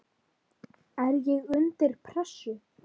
er ég undir pressu?